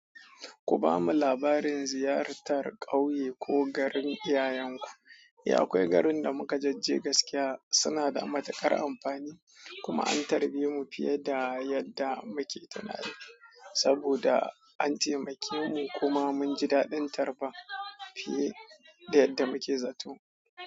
Ku bamu labarin ziyartar ƙauye ko garin iyayenku. Eh, akwai garin da muka jajje gaskiya suna da matuƙar amfani kuma an tarbe mu fiye da yadda muke tunanin saboda an taimake mu kuma mun ji daɗin tarba fiye da yadda muke zato.